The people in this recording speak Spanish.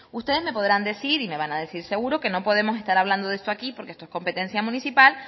ustedes me podrán decir y me van a decir seguro que no podemos estar hablando de esto aquí porque esto es competencia municipal